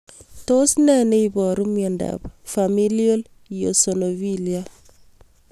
Tos nee neiparu miondop Familial eosinophilia